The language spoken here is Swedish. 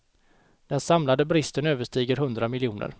Den samlade bristen överstiger hundra miljoner.